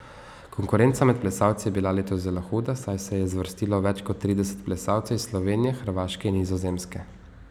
Konkurenca med plesalci je bila letos zelo huda, saj se je zvrstilo več kot trideset plesalcev iz Slovenije, Hrvaške in Nizozemske.